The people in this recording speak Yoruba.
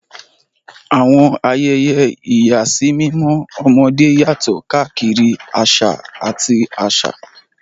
Àwọn ayẹyẹ ìyàsímímọ́ ọmọdé yàtọ̀ káàkiri àṣà àti àṣà.